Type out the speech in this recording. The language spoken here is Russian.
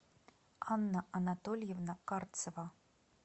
анна анатольевна карцева